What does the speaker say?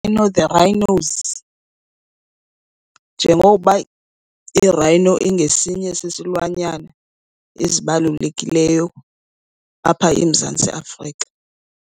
The Rhinos njengoba i-rhino ingesinye sesilwanyana ezibalulekileyo apha eMzantsi Afrika.